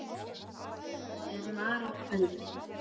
er mara kvaldi.